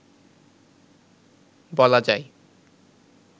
বলা যায়